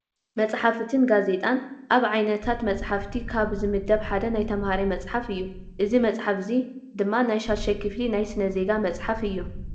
መፅሓፍትን ጋዜጣን፡- ኣብ ዓይነታት መፅሓፍቲ ካብ ዝምደብ ሓደ ናይ ተምሃራይ መፅሓፍ እዩ፡፡ እዚ መፅሓፍ እዚ ድማ ናይ 6ይ ክፍሊ ናይ ስነ-ዜጋ መፅሓፍ እዩ፡፡